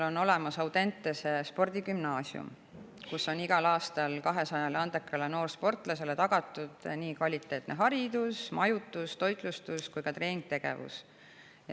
On olemas Audentese spordigümnaasium, kus on igal aastal 200 andekale noorsportlasele tagatud nii kvaliteetne haridus, majutus, toitlustus kui ka treeningtegevus.